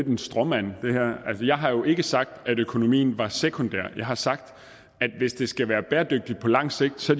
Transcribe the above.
en stråmand jeg har jo ikke sagt at økonomien var sekundær jeg har sagt at hvis det skal være bæredygtigt på lang sigt så